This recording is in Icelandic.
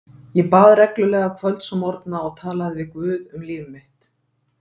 Ég bað reglulega kvölds og morgna og talaði við guð um líf mitt.